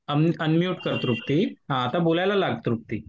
Unmute कर तृप्ती. हां आता बोलायला लाग तृप्ती.